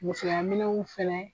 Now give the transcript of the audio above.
Musoyaminw fɛnɛ